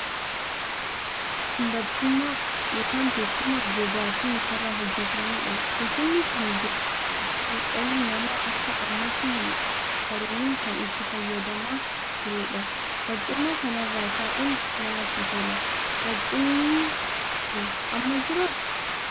Kun barcuma ( teessuma) gogaa fi muka irraa hojjetamee dha. Teessumni kun dur utuu dhalli namaa akka ammaatti hin qaroomin kan itti fayyadamaa turee dha. Barcuma kana irra taa'uun namatti tola. Barcumni kun amma jiraa?